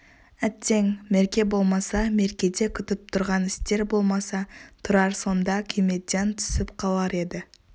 әттең мерке болмаса меркеде күтіп тұрған істер болмаса тұрар сонда күймеден түсіп қалар еді